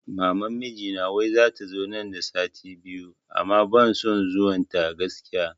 Maman mijina wai zata zo nan da sati biyu amma ban son zuwan ta gaskiya